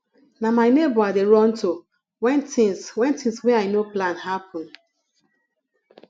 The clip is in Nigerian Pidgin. na my nebor i dey run to wen tins wen tins wey i no plan happen